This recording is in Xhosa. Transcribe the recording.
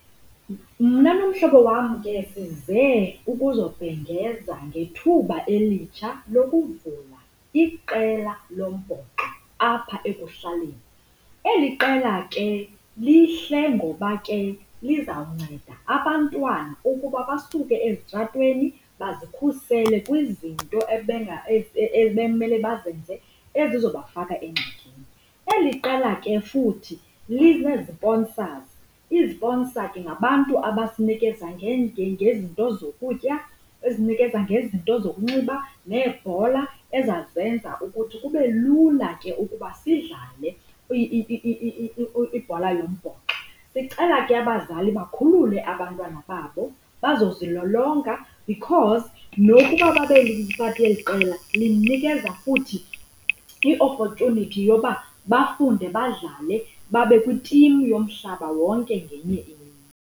Mna nomhlobo wam ke size ukuzobhengeza ngethuba elitsha lokuvula iqela lombhoxo apha ekuhlaleni. Eli qela ke lihle ngoba ke lizawunceda abantwana ukuba basuke ezitratweni bazikhusele kwizinto ebekumele bazenza ezizobafaka engxakini. Eli qela ke futhi lineziponsazi, iziponsa ke ngabantu abasinikeza ngezinto zokutya, ezinikeza ngezinto zokunxiba neebhola ezazenza ukuthi kube lula ukuba sidlale ibhola yombhoxo. Sicela ke abazali bakhulule abantwana babo bazozilolonga because nokuba babe yipati yeli qela linikeza futhi i-opportunity yoba bafunde badlale babe kwitimu yomhlaba wonke ngenye imini.